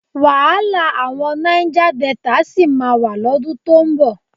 Wàhálà àwọn Náíjá Delta sì máa wà lọ́dún tó ń bọ̀.